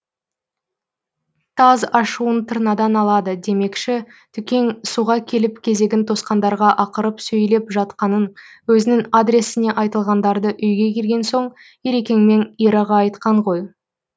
таз ашуын тырнадан алады демекші түкең суға келіп кезегін тосқандарға ақырып сөйлеп жатқанын өзінің адресіне айтылғандарды үйге келген соң ерекең мен ираға айтқан ғой